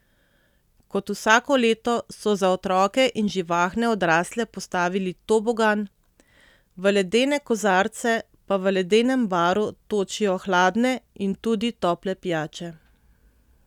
Kot vsako leto so za otroke in živahne odrasle postavili tobogan, v ledene kozarce pa v ledenem baru točijo hladne in tudi tople pijače.